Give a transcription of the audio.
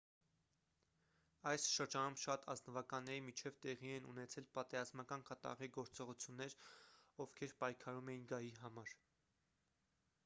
այս շրջանում շատ ազնվականների միջև տեղի են ունեցել պատերազմական կատաղի գործողություններ ովքեր պայքարում էին գահի համար